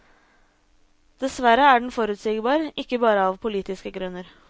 Dessverre er den forutsigbar, ikke bare av politiske grunner.